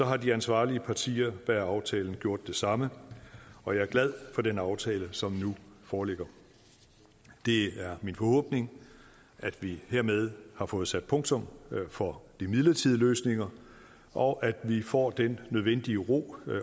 har de ansvarlige partier bag aftalen gjort det samme og jeg er glad for den aftale som nu foreligger det er min forhåbning at vi hermed har fået sat punktum for de midlertidige løsninger og at vi får den nødvendige ro